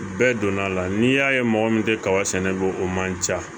Bɛɛ donna a la n'i y'a ye mɔgɔ min tɛ kaba sɛnɛ ko o man ca